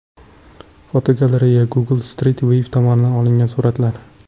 Fotogalereya: Google Street View tomonidan olingan suratlar.